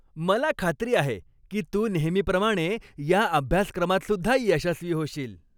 मला खात्री आहे की तू नेहमीप्रमाणे या अभ्यासक्रमातसुद्धा यशस्वी होशील.